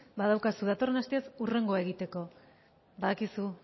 badaukazu datorren astez hurrengoa egoteko badakizu